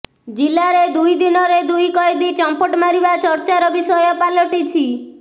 ଜିଲ୍ଲାରେ ଦୁଇ ଦିନରେ ଦୁଇ କଏଦୀ ଚମ୍ପଟ ମାରିବା ଚର୍ଚ୍ଚାର ବିଷୟ ପାଲଟିଛି